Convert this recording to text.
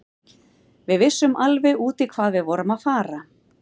Við vissum alveg út í hvað við vorum að fara.